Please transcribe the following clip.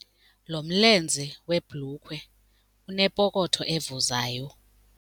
Lo mlenze webhulukhwe unepokotho evuzayo.